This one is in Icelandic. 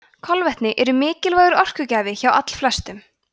kolvetni eru mikilvægur orkugjafi hjá allflestum